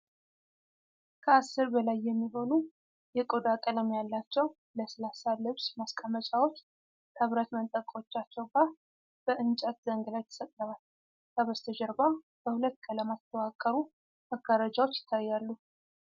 ከአሥር በላይ የሚሆኑ የቆዳ ቀለም ያላቸው ለስላሳ ልብስ ማስቀመጫዎች ከብረት መንጠቆቻቸው ጋር በእንጨት ዘንግ ላይ ተሰቅለዋል። ከበስተጀርባ በሁለት ቀለማት የተዋቀሩ መጋረጃዎች ይታያሉ።